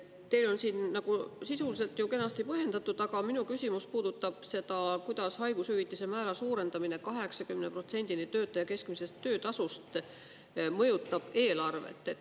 Teil on siin sisuliselt kenasti põhjendatud, aga minu küsimus puudutab seda, kuidas haigushüvitise määra suurendamine 80%‑ni töötaja keskmisest töötasust mõjutab eelarvet.